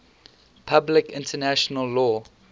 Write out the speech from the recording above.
public international law